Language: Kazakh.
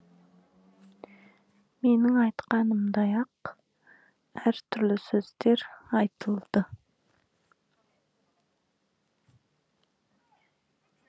менің айтқанымдай ақ әртүрлі сөздер айтылды